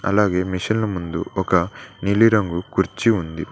అలాగే మిషన్ల ముందు ఒక నీలిరంగు కుర్చీ ఉంది.